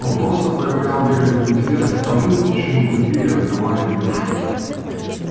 он просто проявлял вежливый интерес к тому чему другие отдавали душу